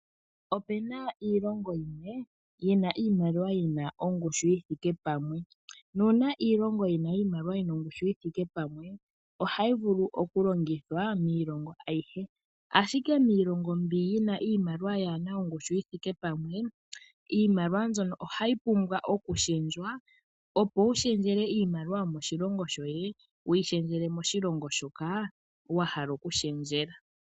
Opena iilongo yimwe yina iimaliwa yina ongushu yi thike pamwe, nuuna iilongo yina iimaliwa yina ongushu yi thike pamwe, oha yi vulu oku longithwa miilongo ayihe. ashike miilongo mbi yi na iimaliwa yaana ongushu yi thike pamwe, iimaliwa mbyono oha yi pumbwa oku shendjwa opo wu shendjele iimaliwa yomoshilongo sho ye, wu yi shendjele moshilongo shoka wa hala oku shendjela.